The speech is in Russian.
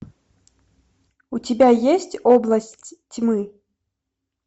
у тебя есть область тьмы